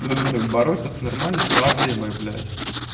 бороться с нормальной проблемой блять